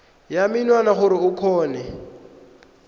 ya menwana gore o kgone